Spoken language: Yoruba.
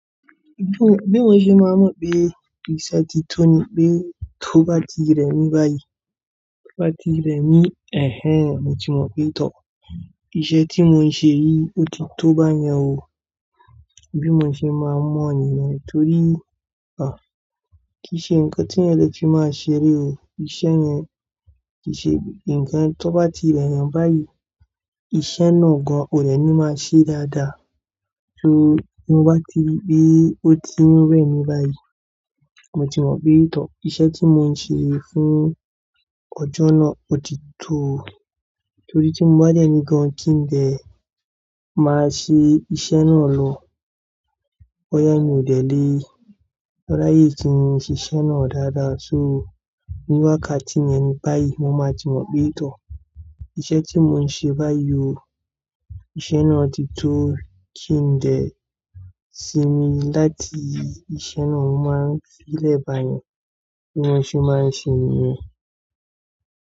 Bí mò ń ṣe má mọ̀ pé ìṣẹ́ ti tó ni pé tó bá ti rẹ̀ mí báyìí, tó bá ti rẹ̀ mí, "ẹhẹn, mo ti mọ̀ pé tọ̀. Ìṣẹ́ tí mò ń ṣe yìí ó ti tó báyẹn o". Bí mò ń ṣe má mọ́ níyen torí, à, kí ṣe nǹkan tí èèyàn lè fi máa ṣeré o. Ìṣẹ́ yẹn kì í ṣe nǹkan tó bá ti rẹ̀ yẹn báyìí, iṣẹ́ náà gan ò le ní máa ṣe dáadáa. So tí mo bá ti rí pé ó ti ń rẹ̀ mí báyìí, mo ti mọ̀ pé tọ̀. Ìṣẹ́ tí mò ń ṣe fún ọjọ́ náà ó ti tó. Torí tí mo bá dẹ̀ ní gan kí ń dẹ̀ máa ṣe iṣẹ́ náà lọ. Boyá mi ò dé lé, ráyé tí mo n ṣiṣe náà dáadáa. So níwákàtí yẹn ni báyìí mo máa ti mọ̀ pé tọ̀. Ìṣẹ́ tí mò ń ṣe báyìí o, iṣẹ́ náà ti tó kí ń dẹ̀ sì mí láti iṣẹ́ náà máa fílẹ̀ báyẹn. Bí wọ́n ṣe máa ń ṣe ènìyàn.